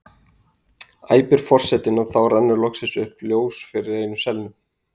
æpir forsetinn og þá rennur loksins upp ljós fyrir einum selnum.